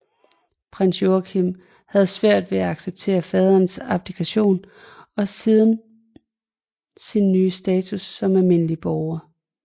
Prins Joachim havde svært ved at acceptere faderens abdikation og sin nye status som almindelig borger